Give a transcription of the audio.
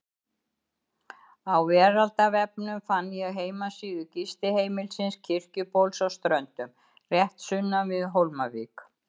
Á veraldarvefnum fann ég heimasíðu gistiheimilisins Kirkjubóls á Ströndum, rétt sunnan við Hólmavík.